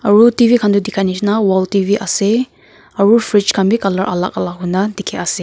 aru tv khan toh dikhia nishe na wall tv ase aru fridge khan bi colour alak alak hoina dikhi ase.